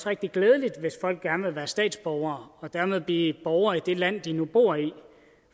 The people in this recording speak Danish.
rigtig glædeligt hvis folk gerne vil være statsborgere og dermed blive borgere i det land de nu bor i